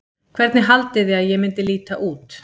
Hvernig haldiði að ég myndi líta út?